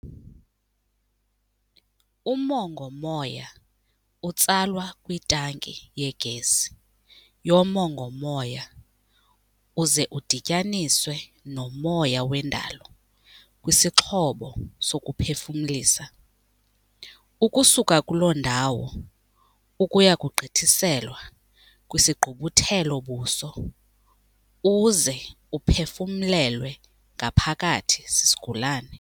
Umongo-moya utsalwa kwitanki yegesi yomongo-moya uze udityaniswe nomoya wendalo kwisixhobo sokuphefumlisa, ukusuka kulo ndawo ukuya kugqithiselwa kwisigqubuthelo-buso uze uphefumlelwe ngaphakathi sisigulane.